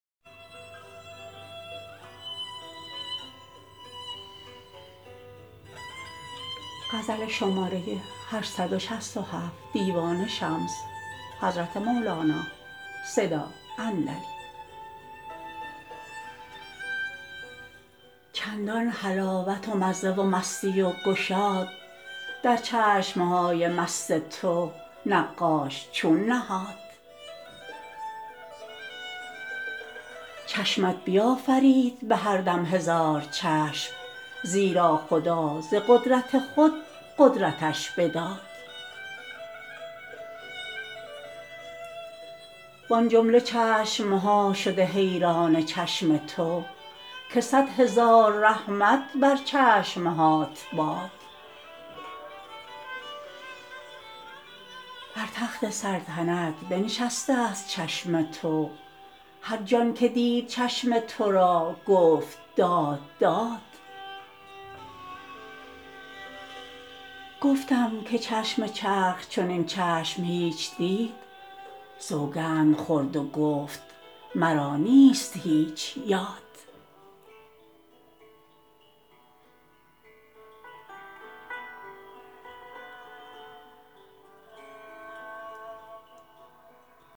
چندان حلاوت و مزه و مستی و گشاد در چشم های مست تو نقاش چون نهاد چشمت بیافرید به هر دم هزار چشم زیرا خدا ز قدرت خود قدرتش بداد وان جمله چشم ها شده حیران چشم تو که صد هزار رحمت بر چشم هات باد بر تخت سلطنت بنشستست چشم تو هر جان که دید چشم تو را گفت داد داد گفتم که چشم چرخ چنین چشم هیچ دید سوگند خورد و گفت مرا نیست هیچ یاد